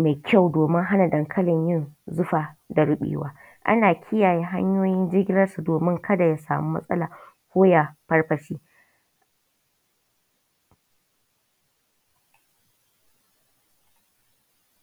mau ƙyau domin hana dankalin yin zufa da ruɓewa. Ana kiyayen hanyoyin jigilar sa somin ka da ya sama matsala ko ya farfashe.